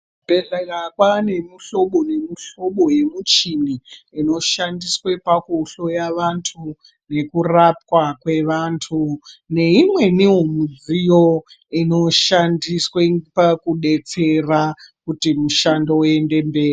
Muzvibhehlera kwane muhlobo nemuhlobo yemichini inoshandiswe pakuhloya vantu nekurapwa kwevantu neimweniwo mudziyo inoshandiswe pakudetsera kuti mushando uende mberi.